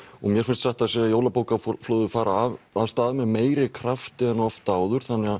mér finnst satt að segja jólabókaflóðið fara af stað með meiri krafti en oft áður þannig